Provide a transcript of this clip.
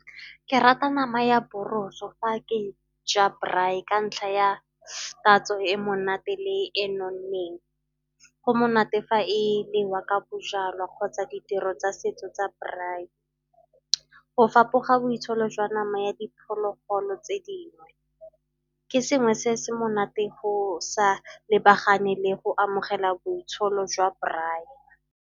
Ke rata nama ya boroso fa ke ja braai ka ntlha ya tatso e monate le e nonneng. Go monate fa e nwewa ka bojalwa kgotsa ditiro tsa setso tsa braai. Go fapoga boitsholo jwa nama ya diphologolo tse dingwe ke sengwe se se monate go sa lebagane le go amogela boitsholo jwa braai.